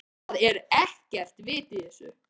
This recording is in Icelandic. ÞAÐ ER EKKERT VIT Í ÞESSU.